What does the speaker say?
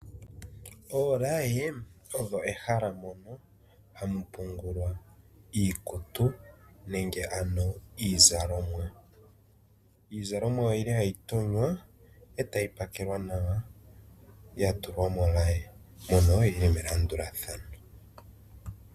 Oolaye odho ehala mono ha mu pungulwa iikutu nenge ano iizalomwa. Iizalomwa oyili hayi tonywa,e tayi pakelwa nawa ya tulwa molaye, mono yi li melandulathano.